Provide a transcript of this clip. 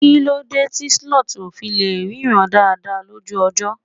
kilode ti sloth o fi le ríran dada lójú ọjọ